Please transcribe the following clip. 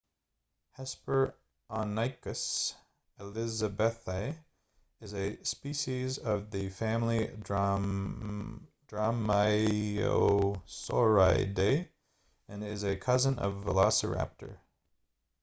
hesperonychus elizabethae is a species of the family dromaeosauridae and is a cousin of velociraptor